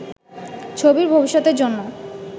ছবির ভবিষ্যতের জন্য